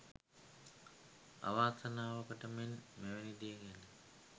අවාසනාවකට මෙන් මෙවැනි දේ ගැන